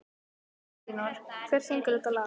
Elínór, hver syngur þetta lag?